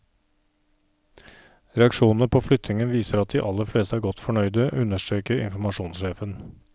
Reaksjonene på flyttingen viser at de aller fleste er godt fornøyde, understreker informasjonssjefen.